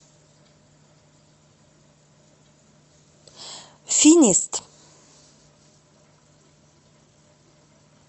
финист